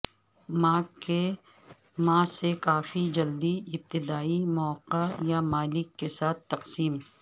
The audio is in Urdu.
ماں سے کافی جلدی ابتدائی مواقع یا مالک کے ساتھ تقسیم